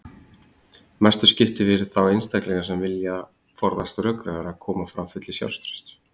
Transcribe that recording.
Mestu skiptir fyrir þá einstaklinga sem vilja forðast rökræður að koma fram fullir sjálfstrausts.